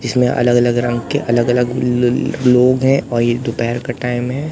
इसमें अलग अलग रंग के अलग अलग ल ल लोग हैं और ये दोपहर का टाइम है।